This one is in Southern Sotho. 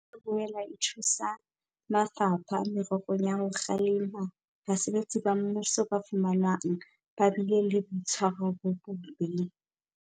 E tla boela e thusa mafapha mererong ya ho kgalema basebetsi ba mmuso ba fumanwang ba bile le boitshwaro bo bobe.